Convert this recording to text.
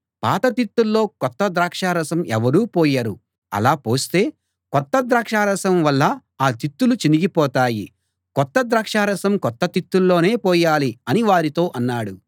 పాత తిత్తుల్లో కొత్త ద్రాక్షారసం ఎవరూ పోయరు అలా పోస్తే కొత్త ద్రాక్షరసం వల్ల ఆ తిత్తులు చినిగిపోతాయి కొత్త ద్రాక్షరసం కొత్త తిత్తుల్లోనే పోయాలి అని వారితో అన్నాడు